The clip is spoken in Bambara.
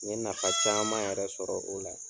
N ye nafa caaman yɛrɛ sɔrɔ o la.